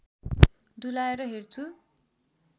डुलाएर हेर्छु